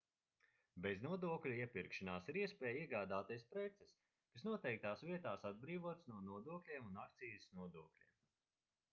beznodokļu iepirkšanās ir iespēja iegādāties preces kas noteiktās vietās atbrīvotas no nodokļiem un akcīzes nodokļiem